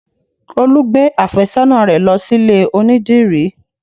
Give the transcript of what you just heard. Olú gbé àfẹ́sọ́nà rẹ lọ sílè onídìrí